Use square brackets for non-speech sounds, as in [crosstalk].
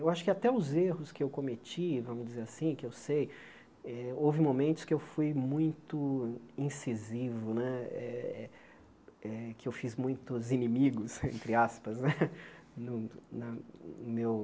Eu acho que até os erros que eu cometi, vamos dizer assim, que eu sei, eh houve momentos que eu fui muito incisivo né eh eh, que eu fiz muitos inimigos, entre aspas né, [laughs] no na no meu...